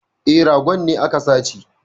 E, ragon ne aka sace